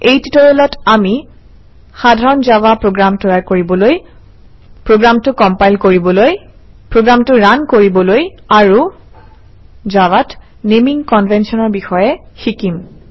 এই টিউটৰিয়েলত আমি সাধাৰণ জাভা প্ৰগ্ৰাম তৈয়াৰ কৰিবলৈ প্ৰগ্ৰামটো কম্পাইল কৰিবলৈ প্ৰগ্ৰামটো ৰান কৰিবলৈ আৰু জাভাত নেমিং কনভেনশ্যনৰ বিষয়ে শিকিম